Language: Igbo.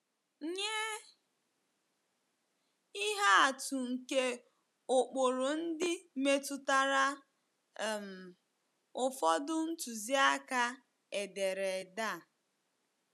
Nye ihe atụ nke ụkpụrụ ndị metụtara um ụfọdụ ntụziaka ederede a.